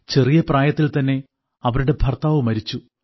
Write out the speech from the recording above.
ചെറിയ പ്രായത്തിൽ തന്നെ അവരുടെ ഭർത്താവ് മരിച്ചു